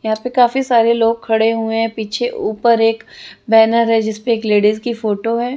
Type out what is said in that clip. यहाँ पे काफी सारे लोग खड़े हुए पीछे ऊपर एक बेनर है जिसपे एक लेडिज की फोटो है।